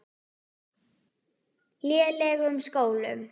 lélegum skólum.